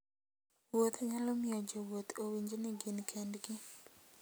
Wuoth nyalo miyo jowuoth owinj ni gin kendgi.